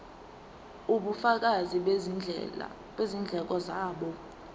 ubufakazi bezindleko zabo